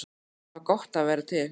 Það var gott að vera til.